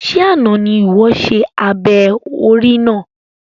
Ṣe àna ní iwọ ṣe abẹ orí náà?